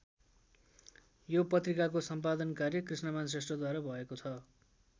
यो पत्रिकाको सम्पादन कार्य कृष्णमान श्रेष्ठद्वारा भएको छ।